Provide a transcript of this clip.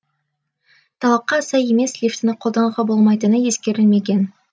талапқа сай емес лифтіні қолдануға болмайтыны ескерілмеген